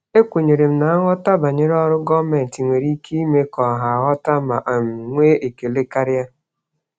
Ekwenyere m na nghọta banyere ọrụ gọọmentị nwere ike ime ka ọha ghọta ma um nwee ekele karịa.